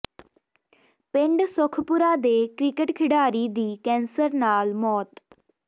ਪਿੰਡ ਸੁਖਪੁਰਾ ਦੇ ਕ੍ਰਿਕਟ ਖਿਡਾਰੀ ਦੀ ਕੈਂਸਰ ਨਾਲ ਮੌਤ